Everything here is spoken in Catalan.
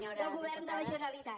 del govern de la generalitat